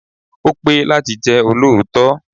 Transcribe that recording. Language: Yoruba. Ó pé láti jẹ́ olóòótọ́.